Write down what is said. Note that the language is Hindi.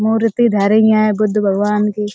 मूर्ति धरीं हैं बुद्ध भगवान की --